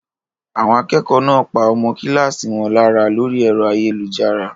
Àwọn akẹ́kọ̀ọ́ náà pa ọmọ kíláàsì wọn lára lórí ẹ̀rọ ayélujára?